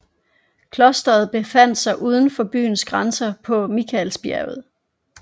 Klostret befandt sig uden for byens grænser på Mikaelsbjerget